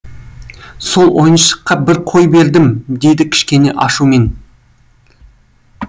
сол ойыншыққа бір қой бердім дейді кішкене ашумен